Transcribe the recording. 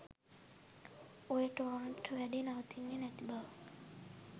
ඔය ටොරන්ට් වැඩේ නවතින්නේ නැති බව.